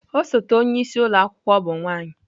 Osote onye isi ụlọ akwụkwọ bụ nwanyị.